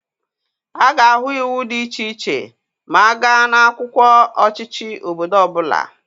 A ga-ahụ iwu dị iche iche ma a gaa n'akwụkwọ ọchịchị obodo ọbụla.